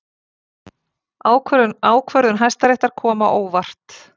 Ákvörðun Hæstaréttar kom á óvart